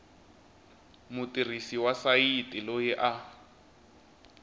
mutirhisi wa sayiti loyi a